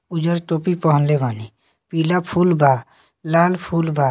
उज्जर टोपी पहनले बानी पीला फूल बा लाल फूल बा।